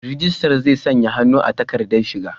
Rijistar zai sanya hannu a takardar shaida.